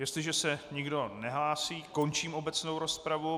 Jestliže se nikdo nehlásí, končím obecnou rozpravu.